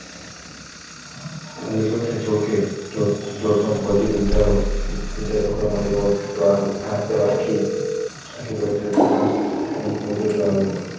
પેલેથી કીધું હોત તો ok જો ટોમ positive વિચારો કરવા માંડ્યો હોત તો આ આખી process ને આમ positive આવ્યો હોત